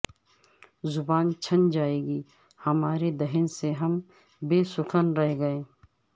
زبان چھن جائے گی ہمارے دہن سے ہم بے سخن رہیں گے